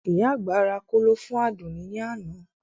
Ìyá àgbà ra kóló fún Àdùnní ní àná